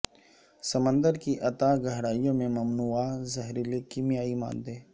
سمندر کی اتھاہ گہرائیوں میں ممنوعہ زہریلے کیمیائی مادے